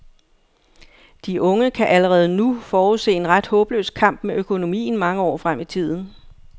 De unge kan allerede nu forudse en ret håbløs kamp med økonomien mange år frem i tiden.